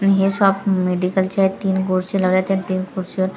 आणि हे शॉप मेडिकलचं आहे तीन खुर्ची लावलेत त्या तीन खुर्चीवर--